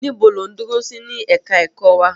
Níbo lò ń dúró sí ní ẹ̀ka ẹ̀kọ́ wa?